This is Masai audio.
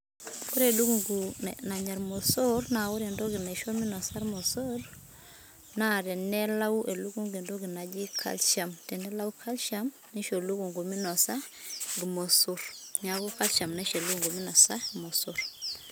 Ore elukungu nanya ilmosor na ore entoki naisho minosa ilmosor na tenalayu elukungu entoki naaji calcium, tenelayu calcium ,nisho elukungu minosa ilmosor, niaku calcium naisho elukungu minosa ilmosor.